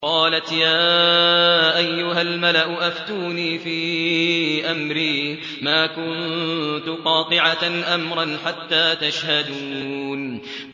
قَالَتْ يَا أَيُّهَا الْمَلَأُ أَفْتُونِي فِي أَمْرِي مَا كُنتُ قَاطِعَةً أَمْرًا حَتَّىٰ تَشْهَدُونِ